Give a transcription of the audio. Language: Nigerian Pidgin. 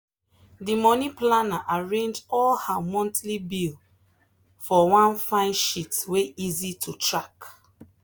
the money planner arrange all her monthly bill for one fine sheet wey easy to track.